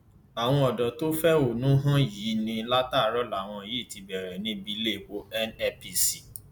àwọn ọdọ tó ń fẹhónú hàn yìí ní láti àárò làwọn yìí ti bẹrẹ níbi iléepo nnpc